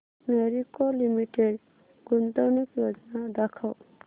Marico limited गुंतवणूक योजना दाखव